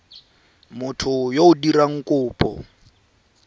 motho yo o dirang kopo